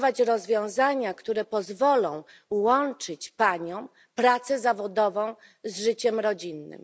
rozwiązania, które pozwolą łączyć paniom pracę zawodową z życiem rodzinnym.